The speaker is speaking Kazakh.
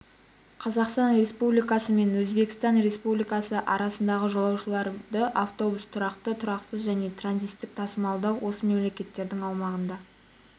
қазақстан республикасы мен өзбекстан республикасы арасында жолаушыларды автобуспен тұрақты тұрақсыз және транзиттік тасымалдау осы мемлекеттердің аумағында